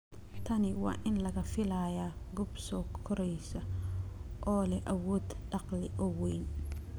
Tani waa in laga filayaa goob soo koraysa oo leh awood dakhli oo weyn.